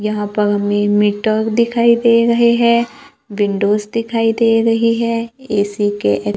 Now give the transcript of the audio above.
यहां पर हमें मीटर दिखाई दे रहे हैं विंडोज दिखाई दे रही है ए_सी के--